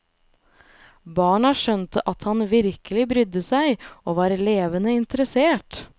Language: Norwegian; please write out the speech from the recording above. Barna skjønte at han virkelig brydde seg og var levende interessert.